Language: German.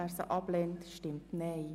Wer sie ablehnt, stimmt Nein.